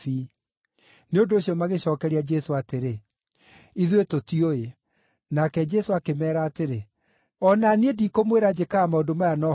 Nĩ ũndũ ũcio magĩcookeria Jesũ atĩrĩ, “Ithuĩ tũtiũĩ.” Nake Jesũ akĩmeera atĩrĩ, “O na niĩ ndikũmwĩra njĩkaga maũndũ maya na ũhoti ũrĩkũ.”